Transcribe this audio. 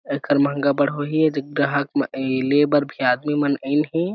आकर महंगा बर होइ हे दीग्गा ग्राहक लेबर भी आदमी मन आयिल हे--